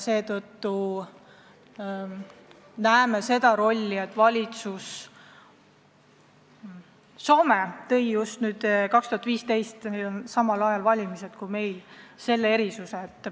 Soome tõi aastal 2015 – neil olid samal ajal valimised kui meil – selle erisuse välja.